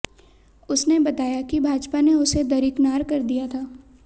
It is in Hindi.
उसने बताया कि भाजपा ने उसे दरिकनार कर दिया था